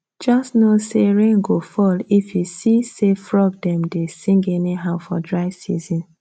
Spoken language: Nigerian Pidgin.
just know say rain go fall if you see say frog dem dey sing anyhow for dry season